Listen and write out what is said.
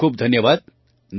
ખૂબ ખૂબ ધન્યવાદ